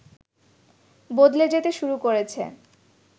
বদলে যেতে শুরু করেছে